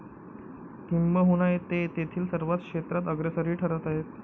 किंबहुना ते तेथील सर्व क्षेत्रात अग्रेसरही ठरत आहेत.